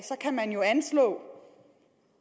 kan man jo anslå